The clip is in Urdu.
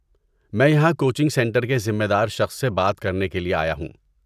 میں یہاں کوچنگ سینٹر کے ذمہ دار شخص سے بات کرنے کے لیے آیا ہوں۔